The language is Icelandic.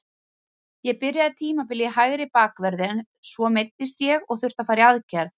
Ég byrjaði tímabilið í hægri bakverði, svo meiddist ég og þurfti að fara í aðgerð.